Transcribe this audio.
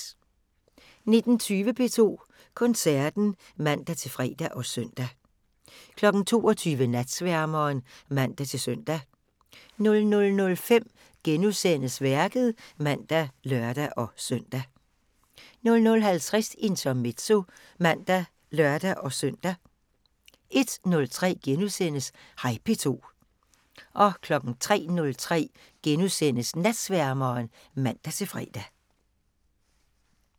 19:20: P2 Koncerten (man-fre og søn) 22:00: Natsværmeren (man-søn) 00:05: Værket *(man og lør-søn) 00:50: Intermezzo (man og lør-søn) 01:03: Hej P2 * 03:03: Natsværmeren *(man-fre)